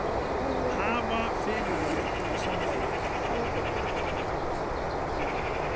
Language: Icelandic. Hafa fyrirvara á samráði